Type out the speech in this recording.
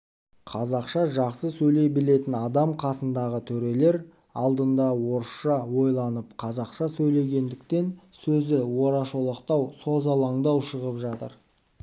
қазақша жақсы сөйлей білетін адам қасындағы төрелер алдында орысша ойланып қазақша сөйлегендіктен сөзі орашолақтау созалаңдау шығып жатыр